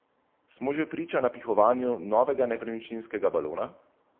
Smo že priča napihovanju novega nepremičninskega balona?